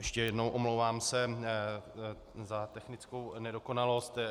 Ještě jednou, omlouvám se za technickou nedokonalost.